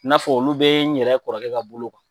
N'a fɔ olu bɛ n yɛrɛ kɔrɔkɛ ka bolo kan